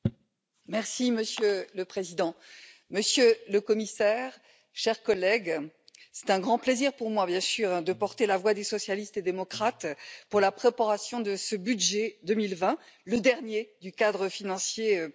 Monsieur le Président, Monsieur le Commissaire, chers collègues, c'est évidemment un grand plaisir pour moi de porter la voix des socialistes et démocrates pour la préparation de ce budget 2020, le dernier du cadre financier pluriannuel.